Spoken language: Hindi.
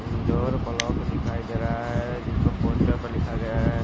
इंडोर ब्लॉक दिखाई देरा है जिसपर पोस्टर पर लिखा गया है।